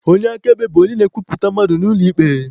Onye akaebe bu onye na-ekwuputara mmadụ n'ụlọ ikpe.